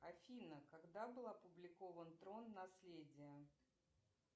афина когда был опубликован трон наследие